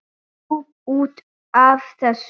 Jú, út af þessu.